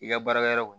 I ka baarakɛyɔrɔ kɔnɔ